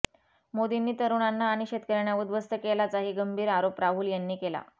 मोदींनी तरुणांना आणि शेतकऱ्यांना उद्ध्वस्त केल्याचाही गंभीर आरोप राहुल यांनी केला